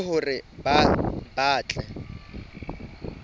e le hore ba tle